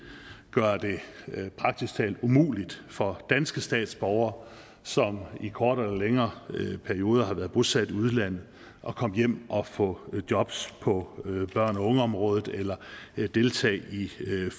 gøre det praktisk talt umuligt for danske statsborgere som i kortere eller længere perioder har været bosat i udlandet at komme hjem og få jobs på børne og ungeområdet eller deltage i